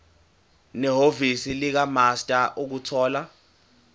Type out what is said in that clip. nehhovisi likamaster ukuthola